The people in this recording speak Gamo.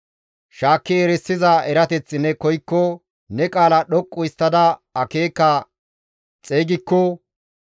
shaakki erisiza erateth ne koykko, ne qaala dhoqqu histtada akeeka xeygikko,